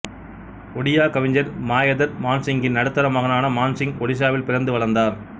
ஒடியா கவிஞர் மாயதர் மான்சிங்கின் நடுத்தர மகனாக மான்சிங் ஒடிசாவில் பிறந்து வளர்ந்தார்